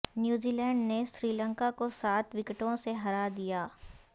New Zealand نے سری لنکا کو سات وکٹوں سے ہرا دیا